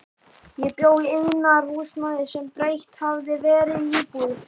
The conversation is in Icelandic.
Ég bjó í iðnaðarhúsnæði sem breytt hafði verið í íbúðir.